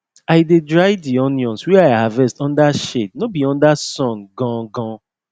i dey dry di onions wey i harvest under shade no be under sun gangan